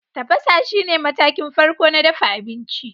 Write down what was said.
Tafasa shine matakin farko na dafa abinci.